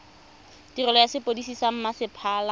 tirelo ya sepodisi sa mmasepala